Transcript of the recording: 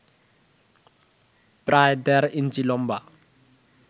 প্রায় দেড় ইঞ্চি লম্বা